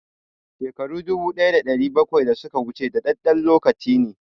Shekaru dubu ɗaya da ɗari bakwai da suka wuce dadadɗen lokaci ne